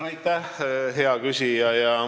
Aitäh, hea küsija!